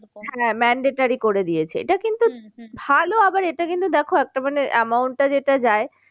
হ্যাঁ monetary করে দিয়েছে এটা কিন্তু ভালো আবার এটা কিন্তু দেখো একটা মানে amount টা যেটা যায়